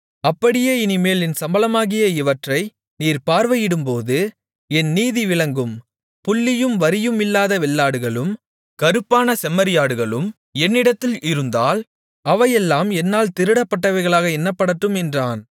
அப்படியே இனிமேல் என் சம்பளமாகிய இவற்றை நீர் பார்வையிடும்போது என் நீதி விளங்கும் புள்ளியும் வரியுமில்லாத வெள்ளாடுகளும் கறுப்பான செம்மறியாடுகளும் என்னிடத்தில் இருந்தால் அவையெல்லாம் என்னால் திருடப்பட்டவைகளாக எண்ணப்படட்டும் என்றான்